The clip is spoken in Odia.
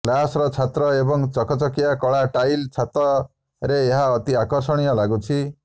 ଗ୍ଲାସ୍ର ଛାତ ଏବଂ ଚକଚକିଆ କଳା ଟାଇଲ୍ ଛାତରେ ଏହା ଅତି ଆକର୍ଷଣୀୟ ଲାଗୁଛି